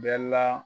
Bɛɛ la